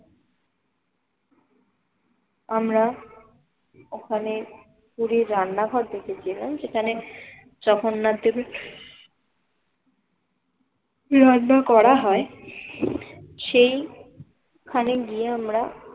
আমরা ওখানে পুরীর রান্নাঘর দেখেছিলাম সেখানে জগন্নাথ দেবের রান্না করা হয় সেইখানে গিয়ে আমরা